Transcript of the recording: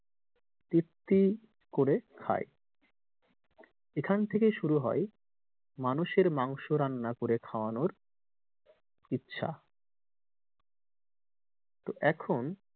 তৃপ্তি করে খায় এখান থেকেই শুরু হয় মানুষের মাংস রান্না করে খাওয়ানোর ইচ্ছা। তো এখন,